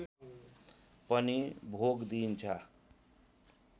पनि भोग दिइन्छ